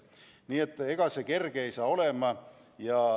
Nii et ega see kerge ei saa olema.